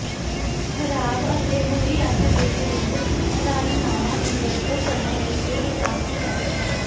ਖ਼ਰਾਬ ਅਤੇ ਬੁਰੀ ਅੱਖ ਦੇ ਵਿਰੁੱਧ ਪ੍ਰਾਰਥਨਾਵਾਂ ਦੀ ਵਰਤੋਂ ਕਰਨ ਲਈ ਇਹ ਕਾਫੀ ਹੈ